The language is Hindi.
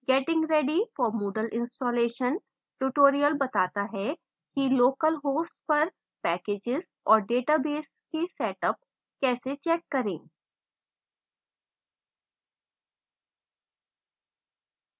getting ready for moodle installation tutorial बताता है कि localhost पर packages और database के setup कैसे check करें